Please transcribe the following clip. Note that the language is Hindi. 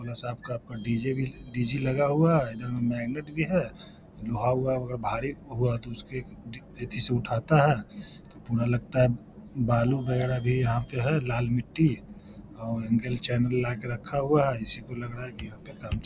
थोड़ा सा आपका आपका डी.जे. भी डी.जे. लगा हुआ है इधर मैगनेट भी है लोहा-वोहा अगर भारी हुआ तो उसके एथी से उठाता है तो पूरा लगता है बालू वैगरह भी यहाँ पे है लाल मिट्टी और ला के रखा हुआ है इसी को लग रहा है की --